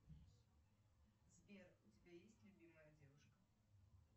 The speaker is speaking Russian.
сбер у тебя есть любимая девушка